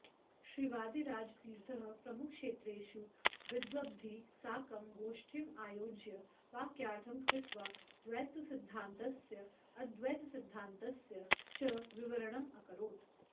श्रीवादिराजतीर्थः प्रमुखक्षेत्रेषु विद्वद्भिः साकं गोष्ठीम् आयोज्य वाक्यार्थं कृत्वा द्वैतसिद्धान्तस्य अद्वैतसिद्धान्तस्य च विवरणम् अकरोत्